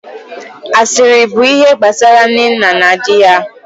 Asịrị bụ ihe gbasara Nnenna na dị yam